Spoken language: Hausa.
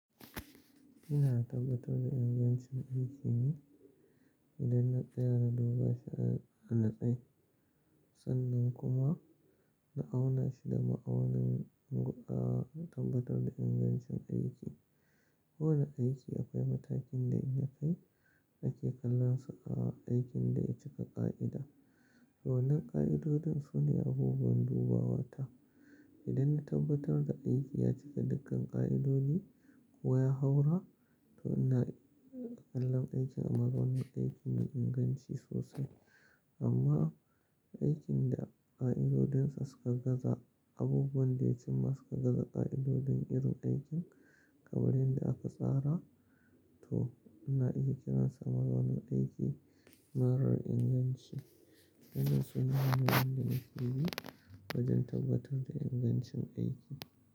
Ina tabbatar da ingancin aiki ne idan na tsaya da duba sharar a na nutse, sannan kuma na auna shi da ma'aunin inga, tabbatar da ingancin aiki. Kowane aiki akwai matakin da in ya kai nake kallonsa a aikin da ya cika ƙa'ida. Waƴannan ƙa'idodin su ne abubuwan dubawata. Idan na tabbatar da aiki ya cika dukkan ƙa'idodi ko ya haura, to ina kalla aikin a matsayin aiki mai inganci sosai. Amma aikin da ƙa'idodinsa suka gaza, abubuwan da ya cimma suka gaza ƙa'idodin irin aikin kamar yanda aka tsara, to ina iya kiransa mazaunin aiki marar inganci. Waƴannan su ne hanyoyin da nake bi wajen tabbatar da ingancin aiki.